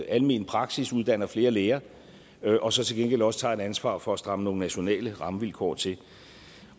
almen praksis uddanner flere læger og så til gengæld også tager et ansvar for at stramme nogle nationale rammevilkår til